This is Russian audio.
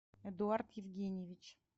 эдуард евгеньевич